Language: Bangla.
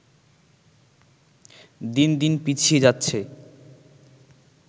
দিনদিন পিছিয়ে যাচ্ছে